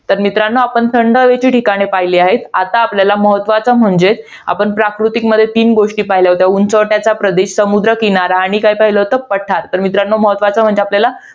तर मित्रांनो, आपण थंड हवेची ठिकाणे पाहिलेली आहेत. आता आपल्याला महत्वाचं म्हणजे, आपण प्राकृतिकमध्ये तीन गोष्टी पाहिलेल्या होत्या, उंचवट्याचा प्रदेश, समुद्र किनारा आणि काय पाहिलं होतं? पठार. तर मित्रांनो महत्वाचं आपल्याला